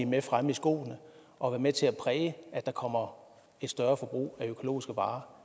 med fremme i skoene og er med til at præge at der kommer et større forbrug af økologiske varer